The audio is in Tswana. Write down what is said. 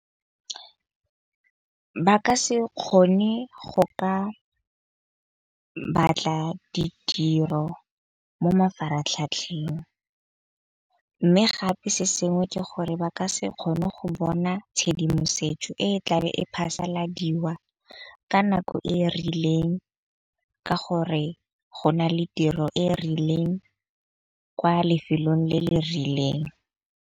Ba ka se kgone go ka batla ditiro mo mafaratlhatlheng. Mme gape se sengwe ke gore ba ka se kgone go bona tshedimosetso e e tlabe e phasaladiwa ka nako e e rileng, ka gore go na le tiro e e rileng kwa lefelong le le rileng.